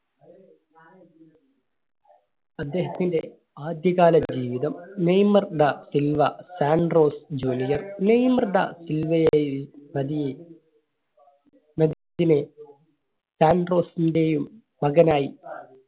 അദ്ദേഹത്തിന്റെ ആദ്യ കാല ജീവിതം. Neymar da Silva Santos Junior. Neymar da Silva സാൻഡോസിന്റെയും മകനായി